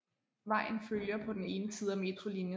Vejen følger på den ene side metrolinien